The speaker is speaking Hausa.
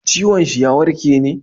ciwon shi ya warke ne?